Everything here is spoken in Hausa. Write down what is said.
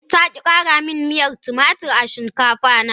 Ta ki kara miyar tumatur a shinkafa na.